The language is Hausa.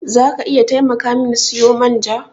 Za ka iya taimaka min siyo man ja?